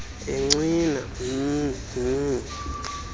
encwina mh mh